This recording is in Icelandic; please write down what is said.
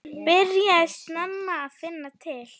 Byrjaði snemma að finna til.